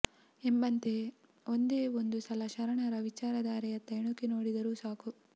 ಎಂಬಂತೆ ಒಂದೆ ಒಂದು ಸಲ ಶರಣರ ವಿಚಾರಧಾರೆಯತ್ತ ಇಣುಕಿ ನೋಡಿದರೂ ಸಾಕು